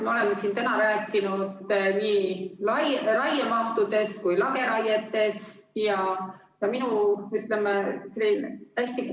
Me oleme siin täna rääkinud nii raiemahtudest kui ka lageraietest.